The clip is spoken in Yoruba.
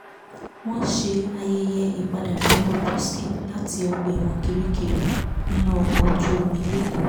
wọ́n ṣe ayẹyẹ ìpadàbọ̀ bob risky láti ọgbà ẹ̀wọ̀n kirikiri nínú ọkọ̀ ojú omi lẹ́kọ